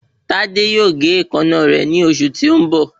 Tádé yóò gé èékánná rẹ̀ ní ọ̀sẹ̀ tí ó ń bọ̀